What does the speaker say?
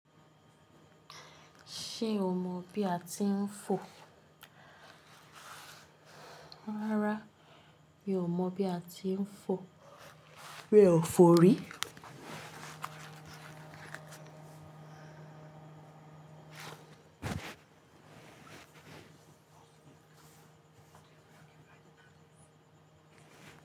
Ṣé o mọ bí a ti ń fò? Rárá mi ò mọ̀ bí a ti ń fò. Mi o fo rii.